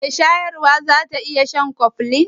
Shin mai shayarwa za ta iya shan Koflin?